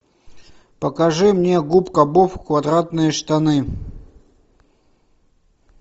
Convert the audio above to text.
покажи мне губка боб квадратные штаны